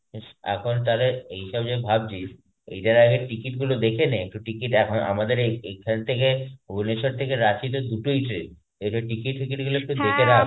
ইস এখন তালে এইসব যে ভাবছিস এইটার আগে ticket গুলো দেখে নে একটু ticket এখ~ আমাদের এই~ এইখান থেকে ভুবনেশ্বর থেকে রাঁচী তো দুটোই train একটু ticket ফিকিট গুলো একটু দেখে রাখ.